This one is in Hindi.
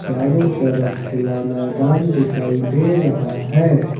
चारों तरफ खुला मैदान दिखाई दे रहा है।